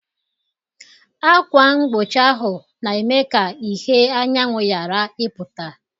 Akwa mgbochi ahụ na-eme ka ìhè anyanwụ ghara ịpụta.